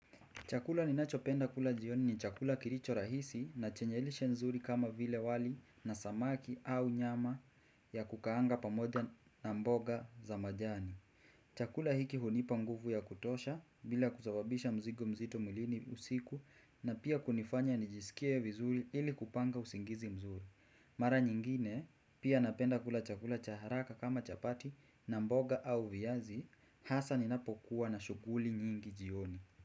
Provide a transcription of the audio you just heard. Chakula ninachopenda kula jioni ni chakula kilicho rahisi na chenye lishe nzuri kama vile wali na samaki au nyama ya kukaanga pamoja na mboga za majani. Chakula hiki hunipa nguvu ya kutosha bila kusababisha mzigo mzito mwilini usiku na pia kunifanya nijisikie vizuri ili kupanga usingizi mzuri. Mara nyingine pia napenda kula chakula cha haraka kama chapati na mboga au viazi hasa ninapokuwa na shughuli nyingi jioni.